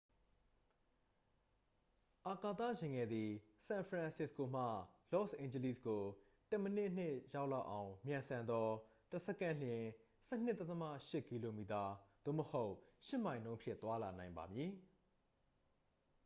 အာကာသယာဉ်ငယ်သည် ဆန်ဖရန်စစ္စကိုမှ လော့စ်အိန်ဂျလိစ်ကို တစ်မိနစ်နှင့် ရောက်လောက်အောင် မြန်ဆန်သော တစ်စက္ကန့်လျှင် 12.8 km သို့မဟုတ် 8 မိုင်နှုန်းဖြင့် သွားလာနိုင်ပါမည်